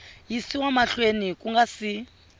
yisiwa mahlweni ku nga si